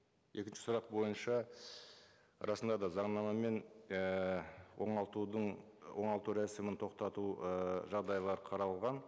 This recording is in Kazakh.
екінші сұрақ бойынша расында да заңнамамен ііі оңалтудың оңалту рәсімін тоқтату ііі жағдайлары қаралған